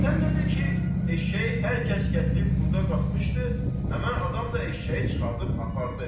Sən də de ki, eşşəyi hər kəs gətirib burda qatmışdı, həmin adam da eşşəyi çıxardıb apardı.